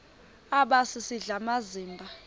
aba sisidl amazimba